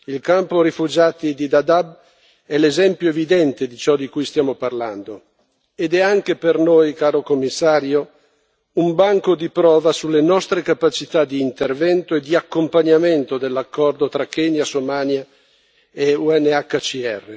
Il campo rifugiati di Dadaab è l'esempio evidente di ciò di cui stiamo parlando ed è anche per noi, Commissario, un banco di prova sulle nostre capacità di intervento e di accompagnamento dell'accordo tra Kenya, Somalia e UNHCR.